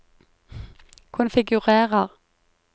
konfigurer